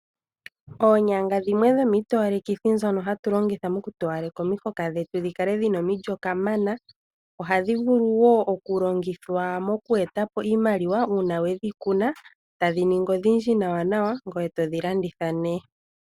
Oonyanga dhimwe dhomiitowalekithi ndhono hatu longitha moku towaleka omihoka dhetu dhi kale dhina omilyo kamana. Ohadhi vulu wo oku longithwa mookweeta po iimaliwa uuna wedhi kuna tadhi ningi odhindji nawanawa ngweye todhi landitha nee.